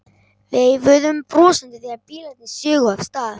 Veifuðum brosandi þegar bílarnir sigu af stað.